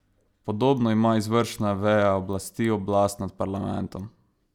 Podobno ima izvršna veja oblasti oblast nad parlamentom.